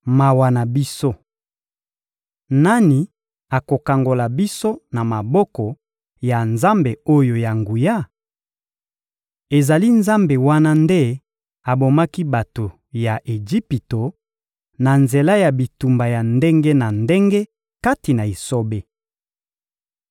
Mawa na biso! Nani akokangola biso na maboko ya Nzambe oyo ya nguya? Ezali Nzambe wana nde abomaki bato ya Ejipito na nzela ya bitumbu ya ndenge na ndenge kati na esobe.